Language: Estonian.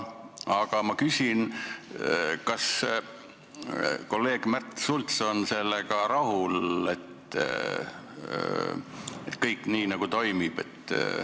Aga ma küsin: kas kolleeg Märt Sults on sellega rahul, et kõik nii läheb?